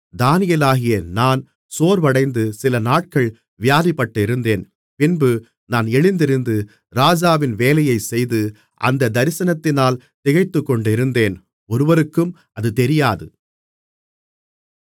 தானியேலாகிய நான் சோர்வடைந்து சிலநாட்கள் வியாதிப்பட்டிருந்தேன் பின்பு நான் எழுந்திருந்து ராஜாவின் வேலையைச் செய்து அந்தத் தரிசனத்தினால் திகைத்துக்கொண்டிருந்தேன் ஒருவருக்கும் அது தெரியாது